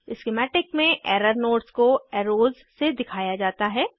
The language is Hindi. स्किमैटिक में एरर नोड्स को एरोज़ से दिखाया जाता है